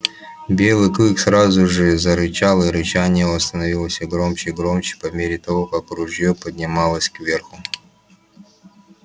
белый клык сразу же зарычал и рычание его становилось все громче и громче по мере того как ружье поднималось кверху